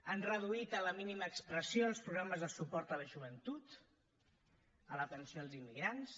han reduït a la mínima expressió els programes de suport a la joventut a l’atenció als immigrants